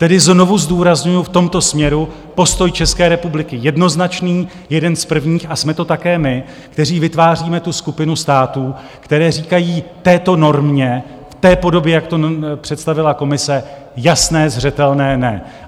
Tedy znovu zdůrazňuju, v tomto směru postoj České republiky jednoznačný, jeden z prvních, a jsme to také my, kteří vytváříme tu skupinu států, které říkají této normě v té podobě, jak to představila komise, jasné, zřetelné "ne".